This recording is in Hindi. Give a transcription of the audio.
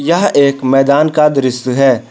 यह एक मैदान का दृश्य है।